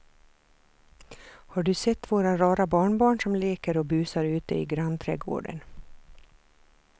Har du sett våra rara barnbarn som leker och busar ute i grannträdgården!